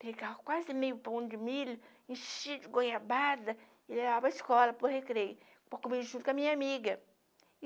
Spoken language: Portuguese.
Pegava quase meio pão de milho, enchia de goiabada e levava para escola, para o recreio, para comer junto com a minha amiga.